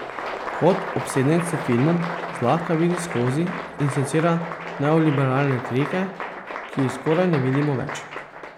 Kot obsedenec s filmom zlahka vidi skozi in secira neoliberalne trike, ki jih skoraj ne vidimo več.